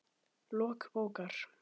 Lok bókar